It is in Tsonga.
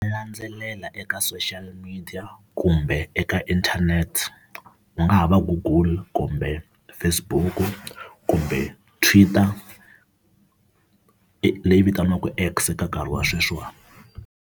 Landzelela eka social media kumbe eka internet, ku nga ha va google kumbe Facebook kumbe Twitter leyi vitaniwaka X ka nkarhi wa sweswiwani.